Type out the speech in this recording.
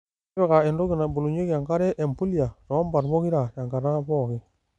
Tipika entoki nabolunyieki enkare empulia too mbat pokira tenkata pookin.